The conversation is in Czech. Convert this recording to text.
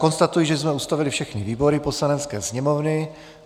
Konstatuji, že jsme ustavili všechny výbory Poslanecké sněmovny.